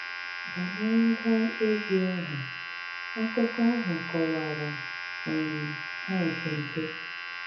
Bányéré ngwá égwú áhụ́, ákúkọ áhụ́ kọwára um há nkénké.